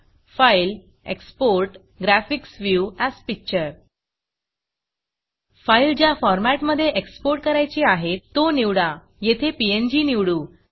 Filegtgtफाइल Exportgtgtएक्सपोर्ट graphics view as Pictureग्रॅफिक्स view as picture file ज्या फॉरमॅटमधे exportएक्सपोर्ट करायची आहे तो निवडा येथे पीएनजी निवडू